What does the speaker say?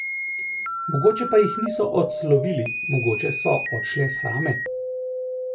Mogoče pa jih niso odslovili, mogoče so odšle same?